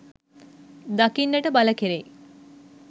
දකින්නට බල කෙරෙයි